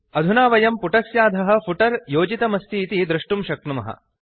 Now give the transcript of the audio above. अधुना वयं पुटस्याधः फुटर योजितमस्तीति दृष्टुं शक्नुमः